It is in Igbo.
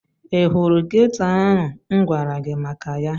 Ị hụrụ geto ahụ m gwara gị maka ya?